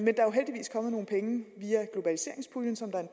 kommet nogle penge via globaliseringspuljen som der er